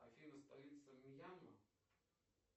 афина столица мьянма